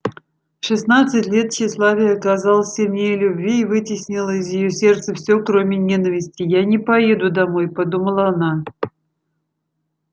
шестнадцать лет тщеславие оказалось сильнее любви и вытеснило из её сердца все кроме ненависти я не поеду домой подумала она